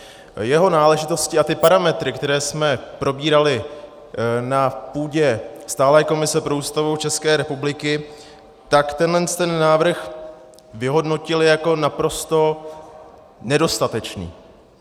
Jeho náležitosti a ty parametry, které jsme probírali na půdě stálé komise pro Ústavu České republiky - tak tenhle návrh vyhodnotil jako naprosto nedostatečný.